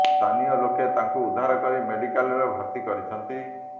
ସ୍ଥାନୀୟ ଲୋକେ ତାଙ୍କୁ ଉଦ୍ଧାର କରି ମେଡିକାଲ୍ରେ ଭର୍ତ୍ତି କରିଛନ୍ତି